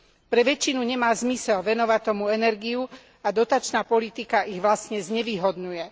Pre väčšinu nemá zmysel venovať tomu energiu a dotačná politika ich vlastne znevýhodňuje.